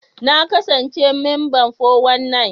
Na kasance memba 419.